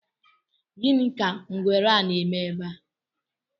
Gini ka ngwere a na-eme ebe a?